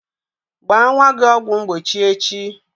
Gbaa nwa gị ọgwụ mgbochi echi!